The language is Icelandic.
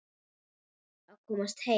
Varð að komast heim.